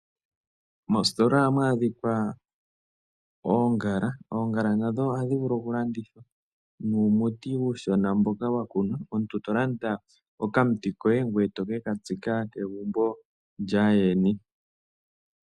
Moositola ohamu adhika oongala nadho ohadhi vulu okulandithwa. Ohamu adhika wo uumuti mbono omuntu to vulu okulanditha ngoye toke katsika kegumbo lyaayeni.